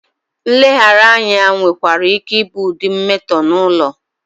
Nleghara anya nwekwara ike ịbụ ụdị mmetọ n'ụlọ.